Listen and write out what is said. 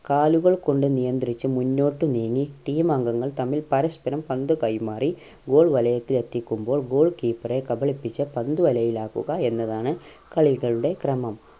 കാലുകൾ കൊണ്ട് നിയന്ത്രിച്ച് മുന്നോട്ട് നീങ്ങി team അംഗങ്ങൾ തമ്മിൽ പരസ്‌പരം പന്ത് കൈമാറി goal വലയത്തിൽ എത്തിക്കുമ്പോൾ goal keeper റെ കബളിപ്പിച്ച് പന്ത് വലയിലാക്കുക എന്നതാണ് കളികളുടെ ക്രമം